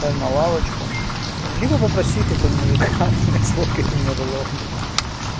встань на лавочку либо попроси какого мужика ха-ха блядь сфоткайте меня пожалуйста